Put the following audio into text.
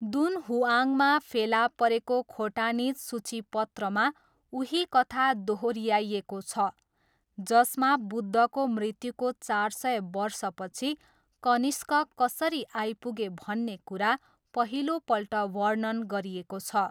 दुनहुआङमा फेला परेको खोटानिज सूचिपत्रमा उही कथा दोहोऱ्याइएको छ, जसमा बुद्धको मृत्युको चार सय वर्षपछि कनिष्क कसरी आइपुगे भन्ने कुरा पहिलोपल्ट वर्णन गरिएको छ।